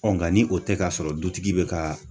nka ni o tɛ ka sɔrɔ dutigi bɛ ka